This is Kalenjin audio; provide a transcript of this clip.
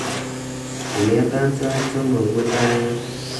ingetan sait somok mutai en